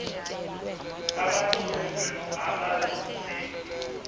abafuundi abantsundu abazidubi